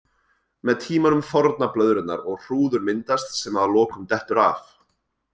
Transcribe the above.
Með tímanum þorna blöðrurnar og hrúður myndast sem að lokum dettur af.